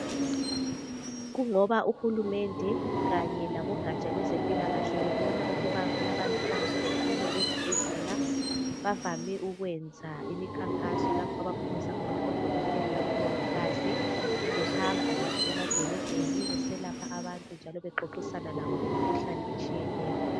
Kungoba uhulumende kanye labogatsha lwezempila kahle bebona ukuba kulabantu abangahambiyo ezibhedlela bavame ukwenza imikhankaso lapho abaphumisa khona odokotela labo mongikazi behamba emadolobheni beselapha abantu njalo bexoxisana ngemikhuhlane etshiyeneyo